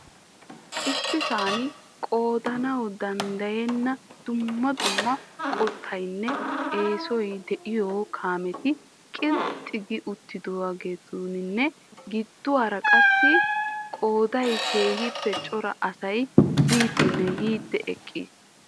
Issisaan qoodanawu danddayenna dumma dumma qottaynne yesoy de'iyo kaametti qilxxi gi uttidaageetinne giddiwaara qassi qooday keehiippe cora asay biidinne yiidinne eqqis.